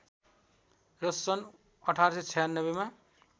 र सन् १८९६ मा